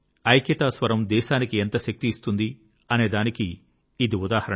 ఐక్యతా స్వరం దేశానికి ఎంత శక్తి ఇస్తుంది అనేదానికి ఇది ఉదాహరణ